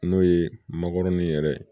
N'o ye makɔrɔni yɛrɛ ye